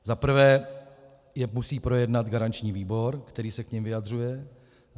Za prvé je musí projednat garanční výbor, který se k nim vyjadřuje.